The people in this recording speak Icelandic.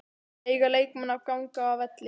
Eiga leikmenn að ganga af velli?